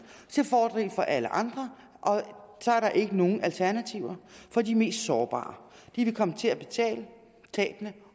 til fordel for alle andre og så er der ikke nogen alternativer for de mest sårbare de vil komme til at betale for tabene